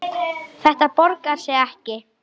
Þetta borgar sig ekki.